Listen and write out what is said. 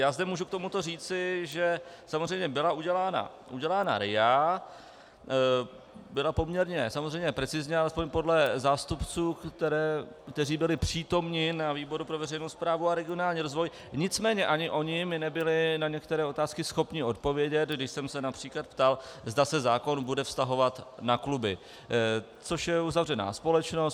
Já zde můžu k tomuto říci, že samozřejmě byla udělána RIA, byla poměrně samozřejmě precizně, alespoň podle zástupců, kteří byli přítomni ve výboru pro veřejnou správu a regionální rozvoj, nicméně ani oni mi nebyli na některé otázky schopni odpovědět, když jsem se například ptal, zda se zákon bude vztahovat na kluby, což je uzavřená společnost.